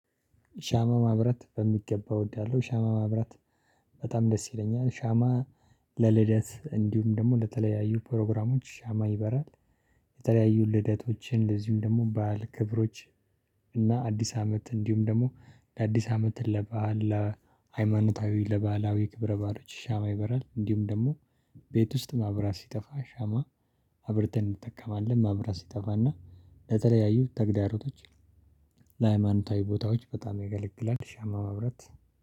ሻማ ማብራት በሚገባ እወዳለሁ። ሻማ ማብራት በጣም ደስ ይለኛል። ሻማ ለልደት እንዲሁም ደግሞ ለተለያዩ ፕሮግራሞች ሻማ ይበራል። የተለያዩ ልደቶችን እንደዚሁም ደግሞ በዓል ክብሮች እና አዲስ አመት እንዲሁም ደግሞ ለአዲስ አመት ለበአል ለሃይማኖታዊ ለባህላዊ ክብረ በዓሎች ሻማ ይበራል። እንዲሁም ደግሞ ቤት ውስጥ መብራት ሲጠፋ ሻማ የተለያዩ ልደቶችን እንደዚሁም ደግሞ በዓል ክብሮች ለተለያዩ ተግዳሮቶች ለሃይማኖታዊ ቦታዎች በጣም ያገለግላል። ሻማ መብራት